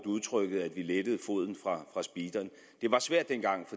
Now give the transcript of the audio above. udtrykket at vi lettede foden fra speederen det var svært dengang